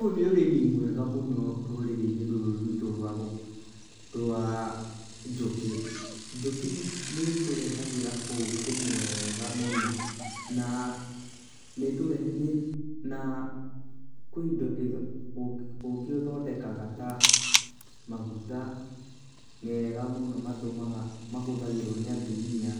Ũyũ nĩ ũrĩmi mwega mũno rũrĩrĩinĩ rũrũ rwitũ rwa njũkĩ, njũkĩ nĩtũrehagĩra ũkĩ mwega mũno na kũna indo ũkĩ ithondekaga ta maguta mega mũno mahuthagĩrwo nĩ atumia